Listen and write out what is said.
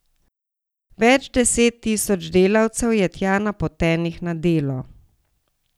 Več deset tisoč delavcev je tja napotenih na delo.